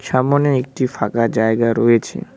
সামোনে একটি ফাঁকা জায়গা রয়েছে।